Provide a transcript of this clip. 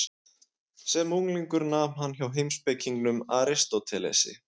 Sem unglingur nam hann hjá heimspekingnum Aristótelesi.